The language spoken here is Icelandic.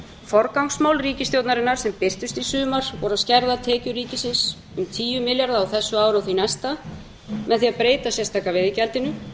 forgangsmál ríkisstjórnarinnar sem birtust í sumar voru að skerða tekjur ríkisins um tíu milljarða á þessu ári og því næsta með því að breyta sérstaka veiðigjaldinu